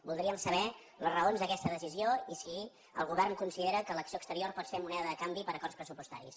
voldríem saber les raons d’aquesta decisió i si el govern considera que l’acció exterior pot ser moneda de canvi per a acords pressupostaris